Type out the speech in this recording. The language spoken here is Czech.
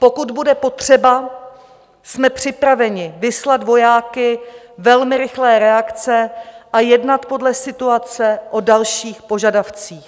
Pokud bude potřeba, jsme připraveni vyslat vojáky velmi rychlé reakce a jednat podle situace o dalších požadavcích.